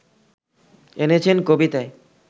এনেছেন কবিতায়